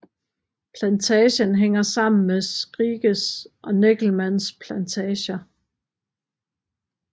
Plantagen hænger sammen med Skrikes og Neckelmanns plantager